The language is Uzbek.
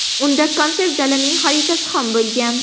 Unda konsert zalining xaritasi ham bo‘lgan.